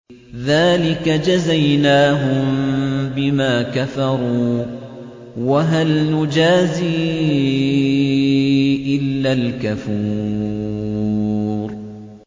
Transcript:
ذَٰلِكَ جَزَيْنَاهُم بِمَا كَفَرُوا ۖ وَهَلْ نُجَازِي إِلَّا الْكَفُورَ